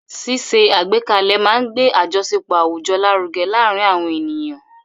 Ṣíṣe àgbékalẹ̀ máa ń gbé àjọṣepọ̀ àwùjọ lárugẹ láàárín àwọn ènìyàn.